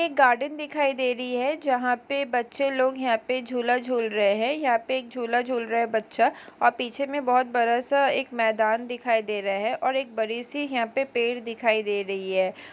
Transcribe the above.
यह एक गार्डन दिखाई दे रही है जहाँ पे बच्चे लोग यहाँ पे झूला झूल रहे है यहाँ पे एक झूला झूल रहा है बच्चा और पीछे में बहोत बड़ा सा एक मैदान दिखाई दे रहा है और एक बड़ी सी यहाँ पेड़ दिखाई दे रही है।